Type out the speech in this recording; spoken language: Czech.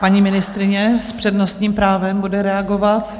Paní ministryně s přednostním právem bude reagovat.